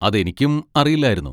അതെനിക്കും അറിയില്ലായിരുന്നു.